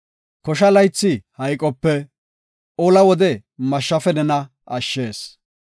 Kosha laythi hayqope, ola wode mashshafe nena ashshees.